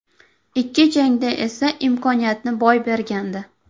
Ikki jangda esa imkoniyatni boy bergandi.